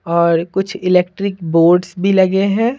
और कुछ electric boards भी लगे है।